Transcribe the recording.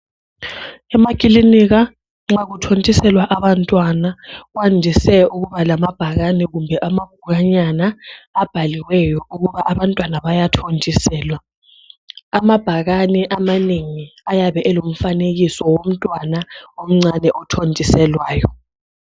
Emaklinika nxa kuthondiselwa abantwana kwandise ukuba lamabhakani kumbe amabhukwanyana abhaliweyo ukuba abantwana bayathondiselwa. Amabhakani amanengi ayabe elomfanekiso womntwana omncane othondiselwayo.